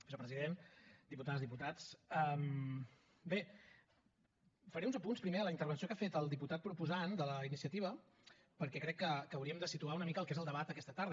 vicepresident diputades diputats bé faré uns apunts primer a la intervenció que ha fet el diputat proposant de la iniciativa perquè crec que hauríem de situar una mica el que és el debat d’aquesta tarda